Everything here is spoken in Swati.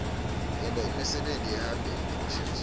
yenta imisebeni ihambe ngekushesha